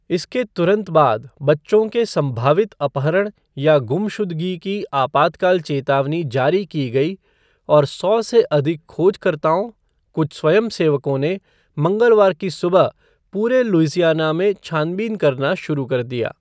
इसके तुरंत बाद बच्चों के सम्भावित अपहरण या गुमशुदगी की आपातकाल चेतावनी जारी की गई, और सौ से अधिक खोजकर्ताओं, कुछ स्वयंसेवकों, ने मंगलवार की सुबह पूरे लुइसियाना में छानबीन करना शुरू कर दिया।